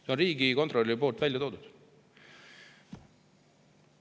See on Riigikontrolli väljatoodud summa.